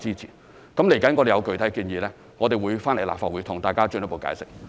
接下來當我們有具體建議時，我們會到立法會向大家作進一步解釋。